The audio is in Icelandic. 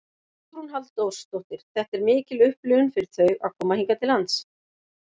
Hugrún Halldórsdóttir: Þetta er mikil upplifun fyrir þau að koma hingað til lands?